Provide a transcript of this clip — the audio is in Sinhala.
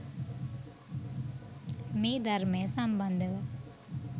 මේ ධර්මය සම්බන්ධව